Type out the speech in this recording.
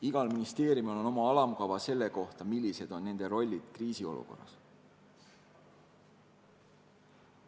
Igal ministeeriumil on oma alamkava selle kohta, millised on tema rollid kriisiolukorras.